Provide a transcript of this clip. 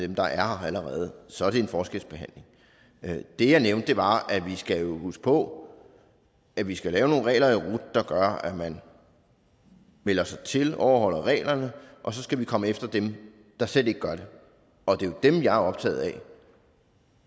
dem der er her allerede så er det en forskelsbehandling det jeg nævnte var at vi skal huske på at vi skal lave nogle regler i rut der gør at man melder sig til og overholder reglerne og så skal vi komme efter dem der slet ikke gør det og det er jo dem jeg er optaget